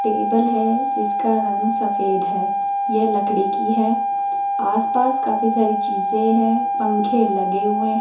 table है जिसका रंग सफेद है यह लकड़ी की है आस पास काफी सारी चीजे हैं पंखे लगे हुए --